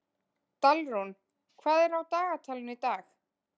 Dalrún, hvað er á dagatalinu í dag?